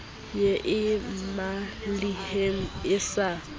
ye e mmalehele e sa